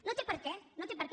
no té per què no té per què